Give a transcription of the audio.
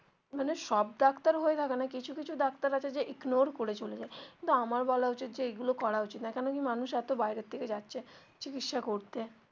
মানে সব ডাক্তার হয় না কিছু কিছু ডাক্তার আছে যে ignore করে চলে যায় কিন্তু আমার বলা উচিত যে এইগুলো করা উচিত নয় কেন কি মানুষ এতো বাইরে থেকে যাচ্ছে চিকিৎসা করতে.